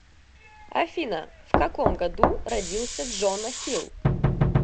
афина в каком году родился джона хилл